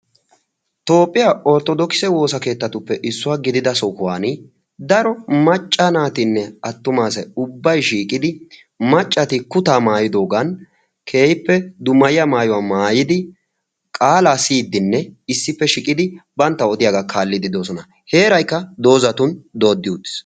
toophphiyaa orttodokise woosa keettatuppe issuwaa gidida sohuwan daro macca naatinne attumaasay ubbay shiiqidi maccati kutaa maayidoogan keehippe dumayiya maayuwaa maayidi qaalaa siyiddinne issippe shiqidi bantta odiyaagaa kaallidi doosona heeraykka doozatun dooddi utiis